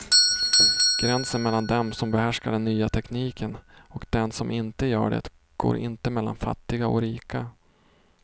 Gränsen mellan dem som behärskar den nya tekniken och dem som inte gör det går inte mellan fattiga och rika.